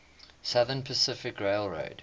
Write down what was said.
southern pacific railroad